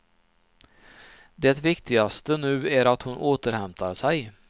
Det viktigaste nu är att hon återhämtar sig.